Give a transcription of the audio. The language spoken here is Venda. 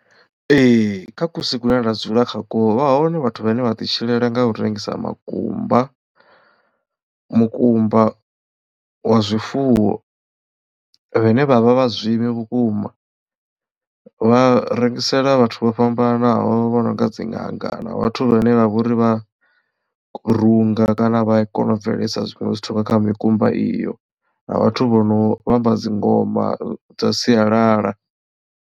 Ee kha kusi kune nda dzula kha kwo vha hone vhathu vhane vha ḓi tshilela nga u rengisa makumba mukumba wa zwifuwo vhane vhavha vha zwivhi vhukuma vha rengisela vhathu vho fhambananaho vho no nga dzi ṅanga na vhathu vhane vha vhori vha runga kana vha kona u bveledzisa zwiṅwe zwithu nga kha mikumba iyo na vhathu vho no tamba dzingoma dza sialala.